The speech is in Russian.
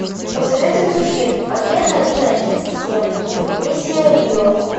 посоветуй мне фильм агент один один семь миссия в рио